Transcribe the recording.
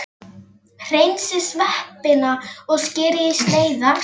Hreinsið sveppina og skerið í sneiðar.